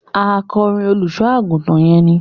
Akọrin olùṣọ àgùntàn yẹn ni.